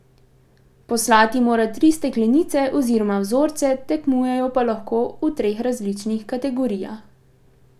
Poslati mora tri steklenice oziroma vzorce, tekmuje pa lahko v treh različnih kategorijah.